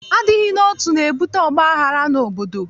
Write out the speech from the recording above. Adịghị n'otu, na-ebute ọgbaghara n'obodo.